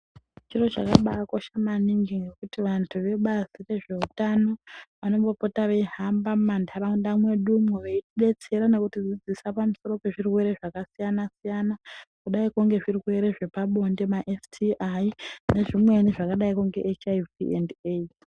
Chiro chakabaakosha maningi kuti vantu vebazi rezveutano vanombopota veihamba mumanharaunda mwedumwO veidetsera ngekutidzidzisa pamusoro pezvirwere zvakasiyana siyana kudayikwo ngezvirwere zvepabonde, maSTi nezvimweni zvakadayiwo nge HIV and AIDS.